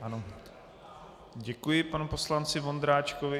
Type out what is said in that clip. Děkuji panu poslanci Vondráčkovi.